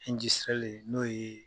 n'o ye.